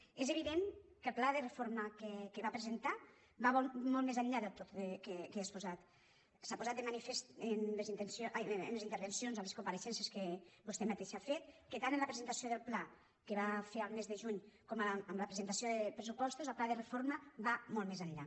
és evident que el pla de reforma que va presentar va molt més enllà de tot el que he exposat s’ha posat de manifest en les intervencions a les compareixences que vostè mateixa ha fet que tant en la presentació del pla que va fer al mes de juny com en la presentació de pressupostos el pla de reforma va molt més enllà